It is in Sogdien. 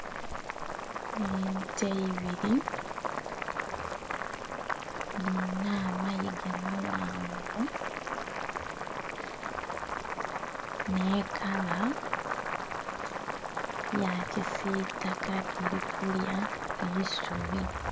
Ente ibiri nga dhirina amayiga maghanvu ne'kala ya kisitaka dhiri kulya eisubi.